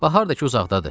Bahar da ki uzaqdadır.